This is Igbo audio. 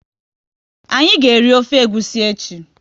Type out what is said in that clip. Anyị ga eri ofe egwusi echi